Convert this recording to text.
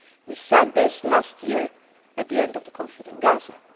We said this last year at the end of the conflict in Gaza.